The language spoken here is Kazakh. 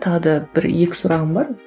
тағы да бір екі сұрағым бар